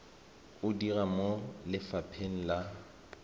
o dira mo lefapheng la